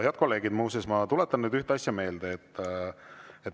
Head kolleegid, muuseas, ma tuletan nüüd ühte asja meelde.